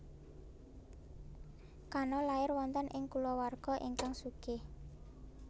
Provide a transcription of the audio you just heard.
Kano lair wonten ing kulawarga ingkang sugih